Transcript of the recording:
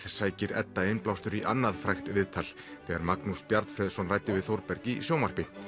sækir Edda innblástur í annað frægt viðtal þegar Magnús ræddi við Þórberg í sjónvarpi